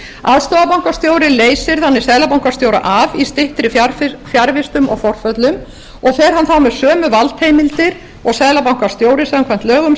aðstoðarbankastjóri leysir þannig seðlabankastjóra af í styttri fjarvistum og forföllum og fer hann þá með sömu valdheimildir og seðlabankastjóri samkvæmt lögum